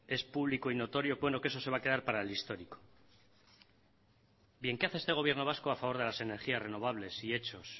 es público y notorio bueno que eso se va a quedar para el histórico bien qué hace este gobierno vasco a favor de las energías renovables y hechos